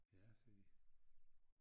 Ja sagde de